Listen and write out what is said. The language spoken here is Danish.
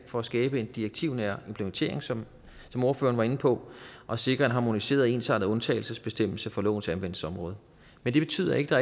for at skabe en direktivnær implementering som som ordføreren var inde på og sikre en harmoniseret og ensartet undtagelsesbestemmelse for lovens anvendelsesområde men det betyder ikke